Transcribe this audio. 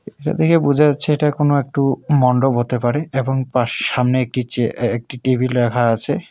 এটা দেখে বোঝা যাচ্ছে এটা কোনও একটু মণ্ডপ হতে পারে এবং পাশ সামনে একটি চেয়া এ্যা একটি টেবিল রাখা আছে।